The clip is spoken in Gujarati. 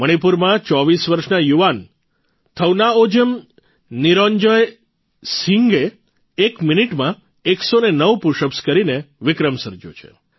મણિપુરમાં ૨૪ વર્ષના યુવાન થૌનાઓજમ નિંરજોય સિંહે એક મિનિટમાં ૧૦૯ પુશઅપ્સ કરીને વિક્રમ સર્જયો છે